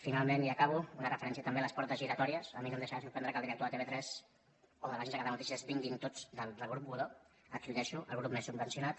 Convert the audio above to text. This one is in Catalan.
finalment i acabo una referència també a les portes giratòries a mi no em deixarà de sorprendre que el director de tv3 o de l’agència catalana de notícies vinguin tots del grup godó aquí ho deixo el grup més subvencionat